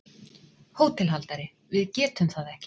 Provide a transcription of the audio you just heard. HÓTELHALDARI: Við getum það ekki.